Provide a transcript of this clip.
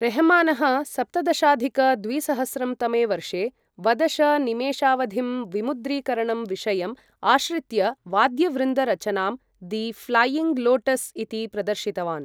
रेहमानः सप्तदशाधिक द्विसहस्रं तमे वर्षे वदश निमेशावधिं विमुद्रीकरणं विषयम् आश्रित्य वाद्यवृन्द रचनां दि फ़्लैयिङ्ग् लोटस् इति प्रदर्शितवान्।